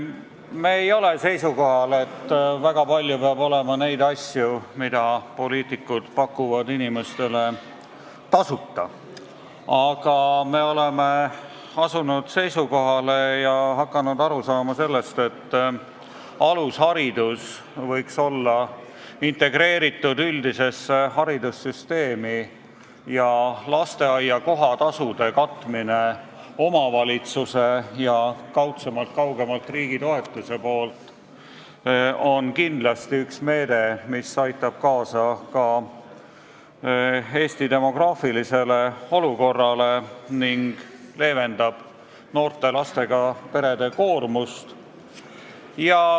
Me ei ole seisukohal, et väga palju peab olema neid asju, mida poliitikud pakuvad inimestele tasuta, aga me oleme asunud seisukohale ja hakanud aru saama sellest, et alusharidus võiks olla integreeritud üldisesse haridussüsteemi ja lasteaia kohatasude katmine omavalitsuse ja kaudsemalt riigitoetuse näol on kindlasti üks meede, mis aitab kaasa Eesti demograafilise olukorra parandamisele ning leevendab noorte lastega perede koormust.